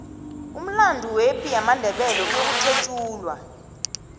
umlando wepi yamandebele uyokuthetjulwa